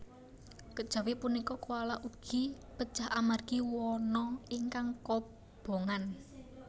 Kejawi punika koala ugi pejah amargi wana ingkang kobongan